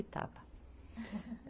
E estava.